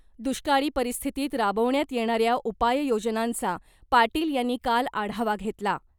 दुष्काळी परिस्थितीत राबवण्यात येणाऱ्या उपाय योजनांचा पाटील यांनी काल आढावा घेतला .